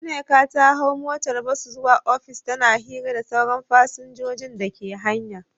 Nneka ta hau motar bas zuwa ofis, tana hira da sauran fasinjojin dake hanya.